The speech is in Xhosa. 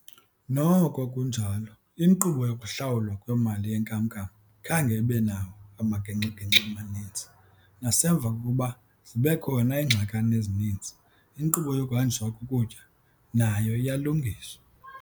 Noko kunjalo, iinkqubo yokuhlawulwa kwemali yenkam-nkam khange ibe nawo amagingxi-gingxi amaninzi, nasemva kokuba zibekhona iingxakana ezininzi, inkqubo yokuhanjiswa kokutya nayo iyalungiswa.